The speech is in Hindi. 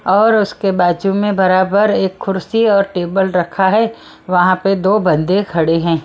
और उसके बाजू में बराबर एक खुर्सी और टेबल रखा है वहां पर दो बंदे खड़े हैं।